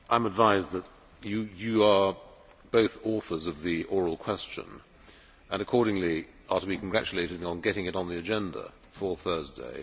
I am advised that you are both authors of the oral question and accordingly are to be congratulated on getting it on the agenda for Thursday.